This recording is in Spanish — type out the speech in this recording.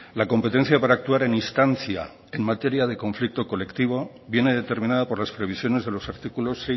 la competencia para actuar en instancia en materia de conflicto colectivo viene determinada por las previsiones de los artículos